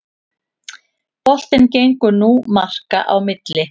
Boltinn gengur nú marka á milli